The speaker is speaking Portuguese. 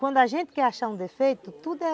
Quando a gente quer achar um defeito, tudo é...